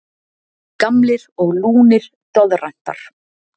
Gamlir og lúnir doðrantar.